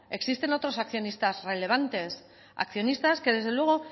existen otros accionistas relevantes accionistas que desde luego